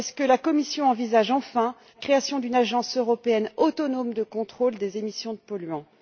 La Commission envisage t elle enfin la création d'une Agence européenne autonome de contrôle des émissions de polluants?